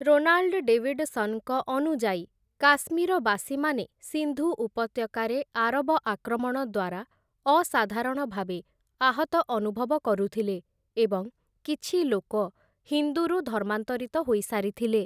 Ronald ଡେଭିଡସନ୍‌ଙ୍କ ଅନୁଯାୟୀ, କାଶ୍ମୀରବାସୀମାନେ ସିନ୍ଧୁ ଉପତ୍ୟକାରେ ଆରବ ଆକ୍ରମଣ ଦ୍ୱାରା ଅସାଧାରଣଭାବେ ଆହତ ଅନୁଭବ କରୁଥିଲେ, ଏବଂ କିଛି ଲୋକ ହିନ୍ଦୁରୁ ଧର୍ମାନ୍ତରିତ ହୋଇସାରିଥିଲେ ।